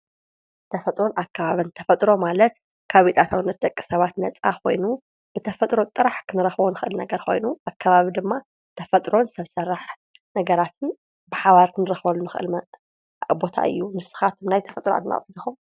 ተፈጥሮን ኣከባቢን ፡- ተፈጥሮ ማለት ካብ ኣታዊነት ደቂ ሰባት ነፃ ኮይኑ ብተፈጥሮ ጥራሕ ክንረክቦ እንክእል ኮይኑ ኣከባቢ ድማ ተፈጥሮን ሰብ ስራሕ ነገራትን ብሓባር ክንረክቦም ንክእል ቦታ እዩ፡፡ ንስካትኩም ከ ናይ ተፈጥሮ አድነቅቲ ዲኩም?